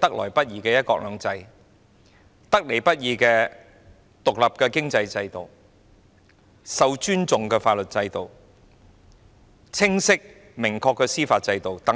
得來不易的"一國兩制"、獨立的經濟制度、受尊重的法律制度、清晰明確的司法制度等。